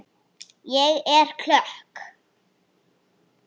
Ég er klökk.